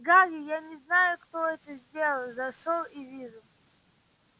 гарри я не знаю кто это сделал зашёл и вижу